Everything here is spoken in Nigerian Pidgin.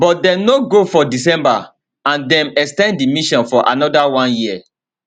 but dem no go for december and dem ex ten d di mission for anoda one year